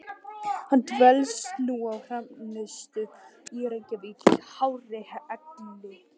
Hann dvelst nú á Hrafnistu í Reykjavík í hárri elli.